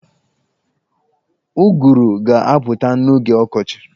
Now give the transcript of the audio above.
Ụgụrụ ga-apụta n'oge ọkọchi.